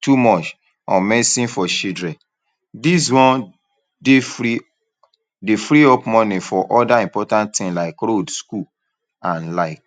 too much on medicine for children. This one dey free dey free up money for other important tin like road school and like.